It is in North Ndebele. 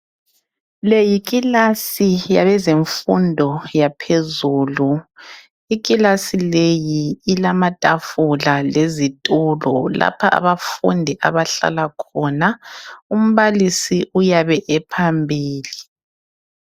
Leyi kilasi yabeze mfundo yaphezulu. Ikilasi leyi ilamatafula lezitulo. Lapha abafundi abahlala khona. Umbalisi uyabe ephambili.